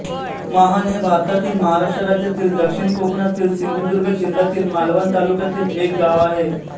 माहण हे भारतातील महाराष्ट्र राज्यातील दक्षिण कोकणातील सिंधुदुर्ग जिल्ह्यातील मालवण तालुक्यातील एक गाव आहे